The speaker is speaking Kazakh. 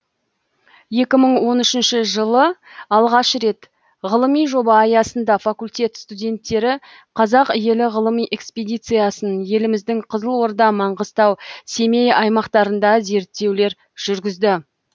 екі мың он үшінші жылы алғаш рет ғылыми жоба аясында факультет студенттері қазақ елі ғылыми экспедициясын еліміздің қызылорда маңғыстау семей аймақтарында зерттеулер жүргізді